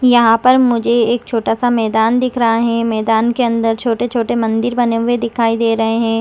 यहाँ पर मुझे एक छोटा सा मैदान दिख रहा है मैदान के अंदर छोटे-छोटे मंदिर बने हुए दिखाई दे रहे हैं।